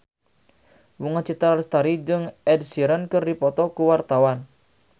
Bunga Citra Lestari jeung Ed Sheeran keur dipoto ku wartawan